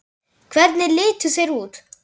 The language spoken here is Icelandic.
Hvernig litu þeir út?